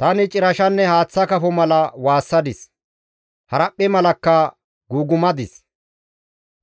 Tani cirashanne haaththa kafo mala waassadis; haraphphe malakka guugumadis.